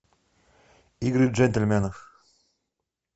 игры джентльменов